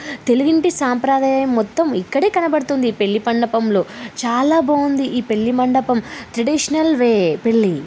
తెలుగింటి సాంప్రదాయం మొత్తం ఇక్కడే కనబడుతుంది. పెళ్లి మండపంలో చాలా బాగుంది ఈ పెళ్లిమండపం. ట్రెడిషనల్ వే పెళ్లి--